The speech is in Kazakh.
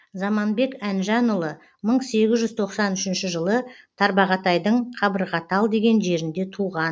заманбек әнжанұлы мың сегіз жүз тоқсан үшінші жылы тарбағатайдың қабырғатал деген жерінде туған